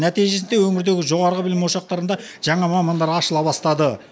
нәтижесінде өңірдегі жоғарғы білім ошақтарында жаңа мамандар ашыла бастады